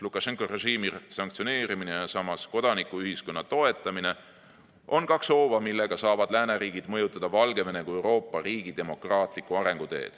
Lukašenka režiimi sanktsioneerimine ja samas kodanikuühiskonna toetamine on kaks hooba, millega saavad lääneriigid mõjutada Valgevene kui Euroopa riigi demokraatlikku arenguteed.